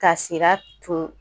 Ka Sira tun